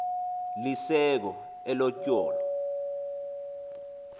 lisekho elo tyholo